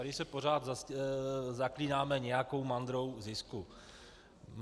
Tady se pořád zaklínáme nějakou mantrou zisku.